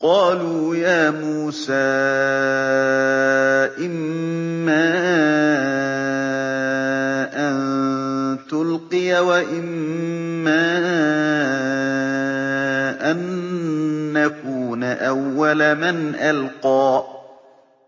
قَالُوا يَا مُوسَىٰ إِمَّا أَن تُلْقِيَ وَإِمَّا أَن نَّكُونَ أَوَّلَ مَنْ أَلْقَىٰ